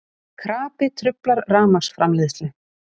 Krapi truflar rafmagnsframleiðslu